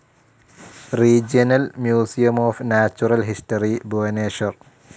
regional museum of natural history, Bhubaneswar